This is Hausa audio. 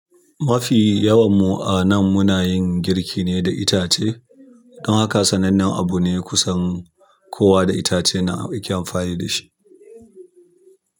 Mafi yawan mu a nan muna yin girki ne da itace. Don haka sanannen abu ne kusan kowa da itace yana yake amfani shi.